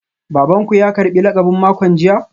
Baban ku ya karbi lakabin makon jiya?